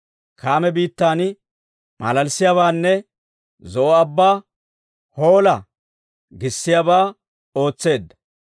Kaame biittan malalissiyaabaanne, Zo'o Abban, «Hoola!» giissiyaabaa ootseedda.